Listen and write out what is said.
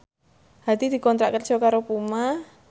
Hadi dikontrak kerja karo Puma